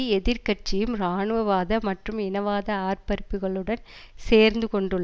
எதிர் கட்சியும் இராணுவ வாத மற்றும் இனவாத ஆர்பரிப்புக்களுடன் சேர்ந்து கொண்டுள்ள